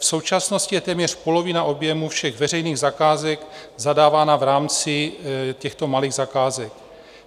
V současnosti je téměř polovina objemu všech veřejných zakázek zadávána v rámci těchto malých zakázek.